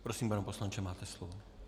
Prosím, pane poslanče, máte slovo.